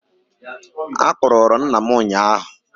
Akpụrụ rụ nna m ụnyahụ